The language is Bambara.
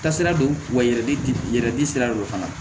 Kasira don wa yɛrɛ di sira dɔ fana ma